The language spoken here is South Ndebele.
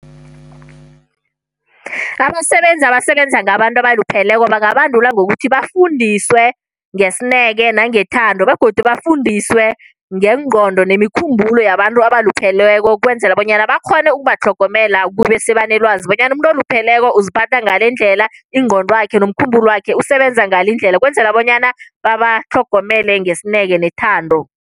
Abasebenzi abasebenza ngabantu abalupheleko bangabandulwa ngokuthi bafundiswe ngesineke nangethando, begodu bafundiswe ngengqondo nemikhumbulo yabantu abalupheleko, ukwenzela bonyana bakghone ukubatlhogomela. Kube sebanelwazi bonyana umuntu olupheleko uziphatha ngalendlela, ingqondwakhe nomkhumbulwakhe usebenza ngalendlela, ukwenzela bonyana babatlhogomele ngesineke nethando.